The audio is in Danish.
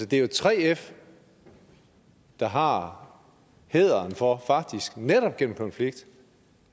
det er jo 3f der har hæderen for faktisk netop gennem konflikt